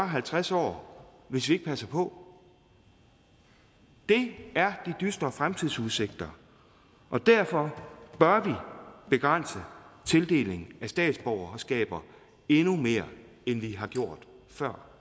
halvtreds år hvis vi ikke passer på det er de dystre fremtidsudsigter derfor bør vi begrænse tildelingen af statsborgerskaber endnu mere end vi har gjort før